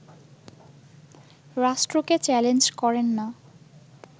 রাষ্ট্রকে চ্যালেঞ্জ করেন না